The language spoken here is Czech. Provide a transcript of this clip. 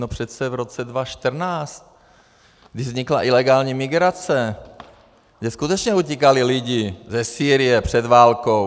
No přece v roce 2014, když vznikla ilegální migrace, že skutečně utíkali lidi ze Sýrie před válkou.